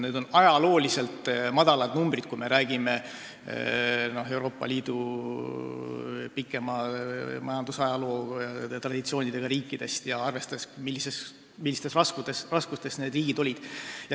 Need on ajalooliselt väikesed numbrid, kui me räägime Euroopa Liidu pikema majandustraditsiooniga riikidest ja arvestame sellega, millistes raskustes need riigid on olnud.